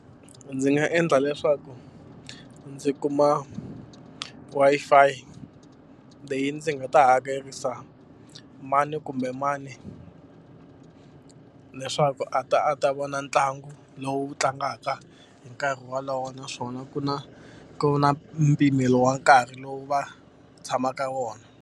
Ndzi nga endla leswaku ndzi kuma Wi-Fi leyi ndzi nga ta hakerisa mani kumbe mani leswaku a ta a ta vona ntlangu lowu tlangaka hi nkarhi wolowo, naswona ku na ku na mpimelo wa nkarhi lowu va tshamaka wona.